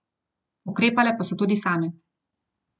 Ukrepale pa so tudi same.